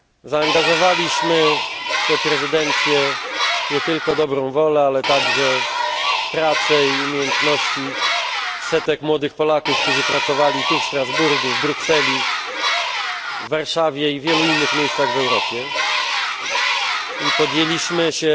Zaangażowaliśmy w tę prezydencję nie tylko dobrą wolę, ale także pracę i umiejętności setek młodych Polaków, którzy pracowali tu w Strasburgu, w Brukseli, w Warszawie i w wielu innych miejscach w Europie, i podjęliśmy się